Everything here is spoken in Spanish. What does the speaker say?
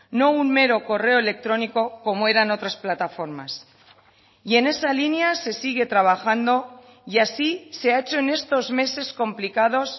no un mero correo electrónico como eran otras plataformas y en esa línea se sigue trabajando y así se ha hecho en estos meses complicados